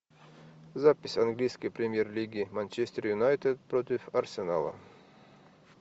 запись английской премьер лиги манчестер юнайтед против арсенала